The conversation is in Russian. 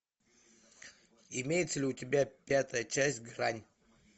имеется ли у тебя пятая часть грань